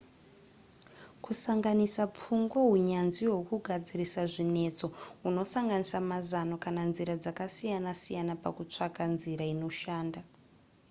kusanganisa pfungwa hunyanzvi hwekugadzirisa zvinetso hunosanganisa mazano kana nzira dzakasiyana siyana pakutsvaka nzira inoshanda